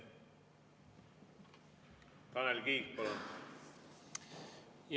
Tanel Kiik, palun!